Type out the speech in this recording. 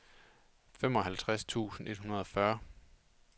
femoghalvfjerds tusind et hundrede og fyrre